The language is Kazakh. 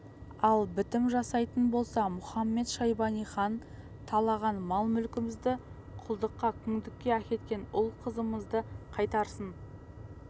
ал бітім жасайтын болса мұхамед-шайбани хан талаған мал-мүлкімізді құлдыққа күңдікке әкеткен ұл-қызымызды қайтарсын